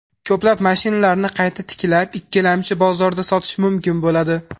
Ko‘plab mashinlarni qayta tiklab, ikkilamchi bozorda sotish mumkin bo‘ladi.